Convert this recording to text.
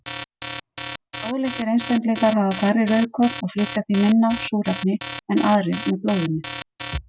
Blóðlitlir einstaklingar hafa færri rauðkorn og flytja því minna súrefni en aðrir með blóðinu.